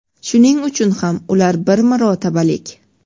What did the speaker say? Shuning uchun ham ular bir marotabalik.